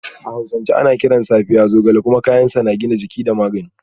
A hausance ana kiran Safiya Zogale kuma kayan sa na gina jiki da magani